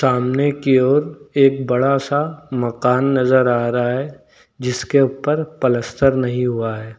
सामने की ओर एक बड़ा सा मकान नजर आ रहा है जिसके ऊपर पलस्तर नहीं हुआ है।